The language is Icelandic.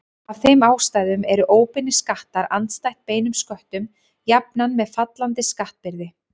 Af þeim ástæðum eru óbeinir skattar andstætt beinum sköttum jafnan með fallandi skattbyrði.